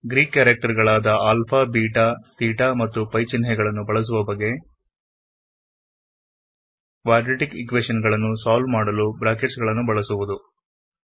Greek character ಗಳಾದ alpha beta theta ಮತ್ತು pi ಚಿಹ್ನೆಗಳನ್ನು ಬಳಸುವ ಬಗೆ ಕ್ವಾಡ್ರೆಟಿc ಈಕ್ವೆಶನ್ ಗಳನ್ನು ಸಾಲ್ವ್ ಮಾಡಲು ಬ್ರಾಕೆಟ್ಸ್ ಗಳನ್ನು ಬಳಸುವುದು